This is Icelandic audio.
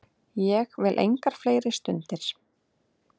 Ég vil engar fleiri stundir.